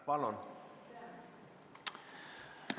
Palun!